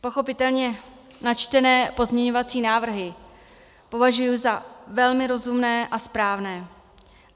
Pochopitelně načtené pozměňovací návrhy považuji za velmi rozumné a správné.